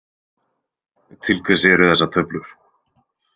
Til hvers eru þessar töflur?